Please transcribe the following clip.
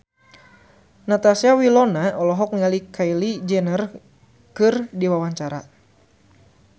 Natasha Wilona olohok ningali Kylie Jenner keur diwawancara